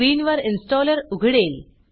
स्क्रीनवर इन्स्टॉलर उघडेल